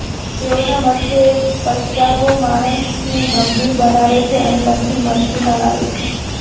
તેઓના મતે પસ્તાવો માણસને ગંભીર બનાવે છે અને પછી મસ્તીમાં લાવે છે